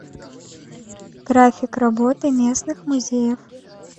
график работы местных музеев